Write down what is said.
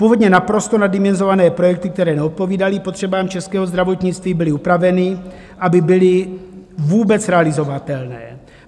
Původně naprosto naddimenzované projekty, které neodpovídaly potřebám českého zdravotnictví, byly upraveny, aby byly vůbec realizovatelné.